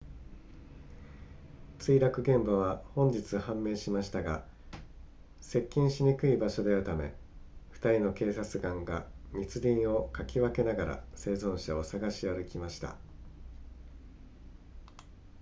墜落現場は本日判明しましたが接近しにくい場所であるため2人の警察官が密林をかき分けながら生存者を探し歩きました